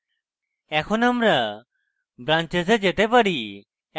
এখন আমরা branches we যেতে পারি